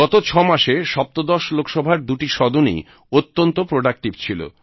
গত 6 মাসে সপ্তদশ লোকসভার দুটি সদনই অত্যন্ত প্রোডাক্টিভ ছিল